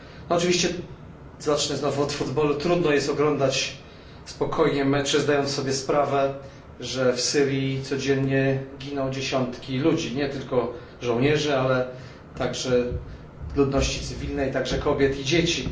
Oczywiście zacznę znowu od futbolu, trudno jest oglądać spokojnie mecze zdając sobie sprawę, że w Syrii codziennie giną dziesiątki ludzi, nie tylko żołnierzy, ale także ludności cywilnej, także kobiet i dzieci.